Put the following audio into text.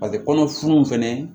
Paseke kɔnɔfun fɛnɛ